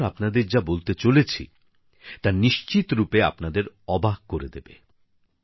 আমি এখন আপনাদের যা বলতে চলেছি তা নিশ্চিত রূপে আপনাদের অবাক করে দেবে